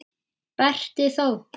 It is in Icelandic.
Berti þó!